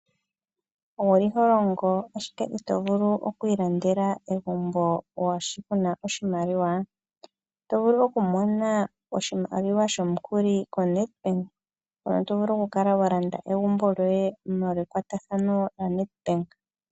Owu li holongo ashike itovulu oku ilandela egumbo moolwashi ku na oshimaliwa? Oto vulu oku mona oshimaliwa shomukuli koNedbank mono to vulu oku kala walanda egumbo lyoye molwa ekwatathano noNedbank